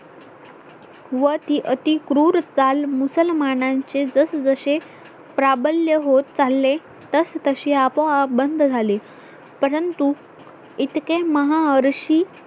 व ती अति क्रूर ताल मुसलमानांचे जसजसे प्राबल्य होत चालले तस तशे आपोआप बंद झाले परंतु इतके महाऋषी